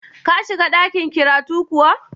Ka shiga ɗakin kiratu kuwa?